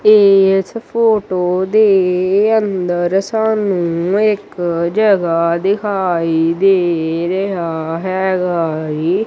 ਇਸ ਫੋਟੋ ਦੇ ਅੰਦਰ ਸਾਹਨੂੰ ਇੱਕ ਜਗਾਹ ਦਿਖਾਈ ਦੇ ਰਿਹਾ ਹੈਗਾ ਏ।